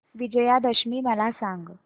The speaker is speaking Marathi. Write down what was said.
विजयादशमी मला सांग